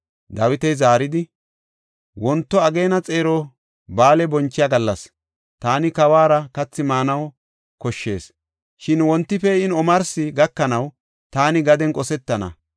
Dawiti zaaridi, “Wonto ageena xeero ba7aale bonchiya gallas; taani kawuwara kathi maanaw koshshees. Shin wonti pee7in omarsi gakanaw taani gaden qosetana.